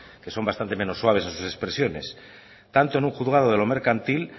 que son bastante menos suaves en sus expresiones tanto en un juzgado de lo mercantil